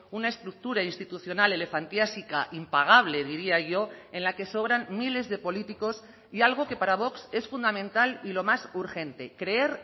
una estructura institucional elefantiásica impagable diría yo en la que sobran miles de políticos y algo que para vox es fundamental y lo más urgente creer